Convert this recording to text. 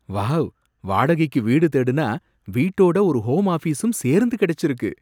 Wow! வாடகைக்கு வீடு தேடுனா வீட்டோட ஒரு ஹோம் ஆஃபீசும் சேர்ந்து கிடைச்சிருக்கு!